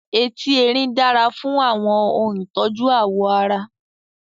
Etí Erin dára fún àwọn ohun ìtọ́jú ààwọ̀ ara.